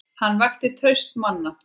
Hann vakti traust manna.